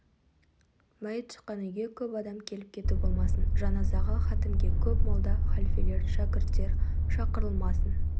мәйіт шыққан үйге көп адам келіп-кету болмасын жаназаға хатімге көп молда халфелер шәкірттер шақырылмасын